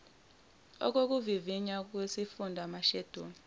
okuvivinya lwesifunda amasheduli